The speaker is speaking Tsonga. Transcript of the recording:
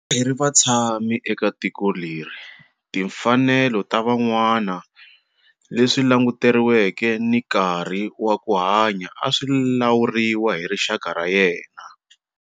A hi ri vatshami eka tiko leri timfanelo ta van'wana, leswi languteriweke ni nkarhi wa ku hanya a swi lawuriwa hi rixaka ra yena.